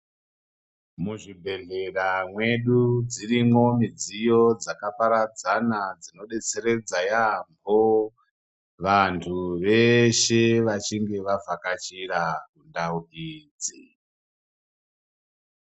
Muzvibhehlera mwedu dzirimwo midziyo dzakaparadzana dzinodetseredza yaambo vantu veshe vachinge vabvakachira ndau idzi.